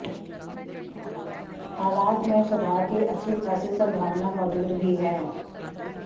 हालात में सुधार की अच्छी खासी संभावना मौजूद भी है